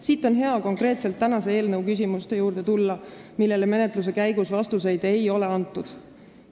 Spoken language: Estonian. Siit on hea tulla konkreetsete küsimuste juurde, millele menetluse käigus vastust ei ole antud.